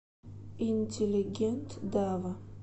интеллигент дава